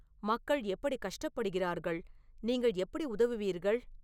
மக்கள் எப்படி கஷ்டப்படுகிறார்கள் நீங்கள் எப்படி உதவுவீர்கள்